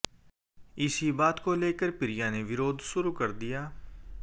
इसी बात को लेकर प्रिया ने विरोध शुरू कर दिया